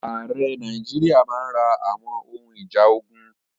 Ààrẹ Nàìjíríà máa ra àwọn ohun ìjà ogun.